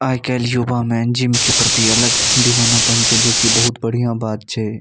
आय काल युवा में जिम के प्रति अलग दिवानापन छै जे कि बहुत बढ़िया बात छै।